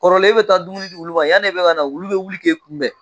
Kɔrɔlen e bɛ taa dumuni di wulu ma yani e bɛ ka na, wulu bɛ wuli k'e kunbɛn!